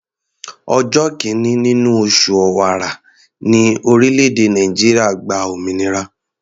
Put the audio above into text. Ọjọ́ kìíní nínú oṣù Ọ̀wàrà ní orílẹ̀-èdè Nàìjíríà gba òmìnira.